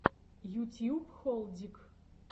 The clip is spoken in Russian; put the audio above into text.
ютьюб холдик